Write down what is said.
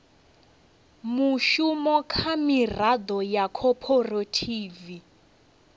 mushumo kha miraḓo ya khophorethivi